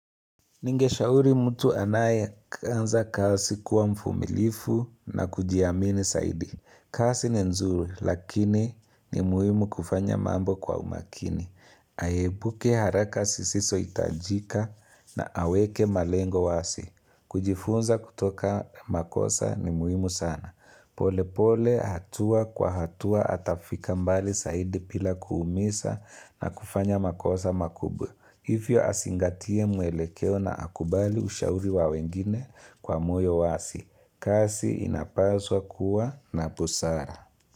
Ningeshauri mtu anaye anza kazi kuwa mfumilivu na kujiamini zaidi. Kasi ni nzuri lakini ni muhimu kufanya mambo kwa umakini. Aepuke haraka zisizo itajika na aweke malengo wazi. Kujifunza kutoka makosa ni muhimu sana. Pole pole hatua kwa hatua atafika mbali zaidi bila kuumiza na kufanya makosa makubwa. Hivyo azingatie muelekeo na akubali ushauri wa wengine kwa moyo wazi, kazi inapaswa kuwa na busara.